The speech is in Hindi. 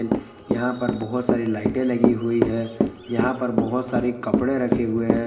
यहां पर बहुत सारी लाइटें लगी हुई है यहां पर बहुत सारी कपड़े रखे हुए हैं।